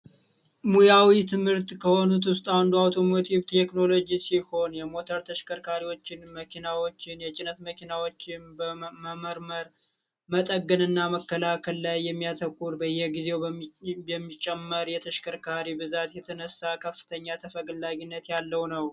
ሙያዊ ትምህርት ከሆኑት ውስጥ አንዱ ቴክኖሎጂ ሲሆን የሞተር ተሽከርካሪዎችን መኪናዎችን የጭነት መኪናዎችም በመመርመር መጠገንና መከላከል ላይ የሚያተኩር በየጊዜው የሚጨመር የተሽከርካሪ ብዛት የተነሳ ከፍተኛ ተፈላጊነት ያለው ነው